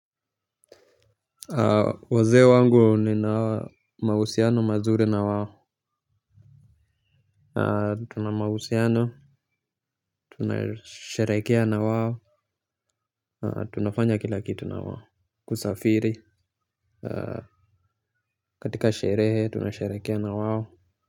Wazee wangu nina mahusiano mazuri na wao. Tuna mahusiano, tunasherekea na wao. Tunafanya kila kitu na wao. Kusafiri katika sherehe tunasharekea na wao.